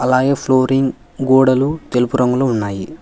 Wire flooring గోడలు తెలుపు రంగులో ఉన్నాయి.